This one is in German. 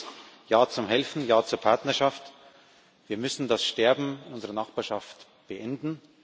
Die eine ist Ja zum Helfen, Ja zur Partnerschaft wir müssen das Sterben in unserer Nachbarschaft beenden.